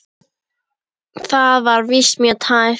Þetta var víst mjög tæpt.